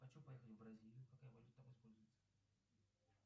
хочу поехать в бразилию какая валюта там используется